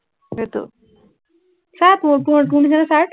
এইটো, চা তোৰ, তোৰ তোৰ নিচিনা shirt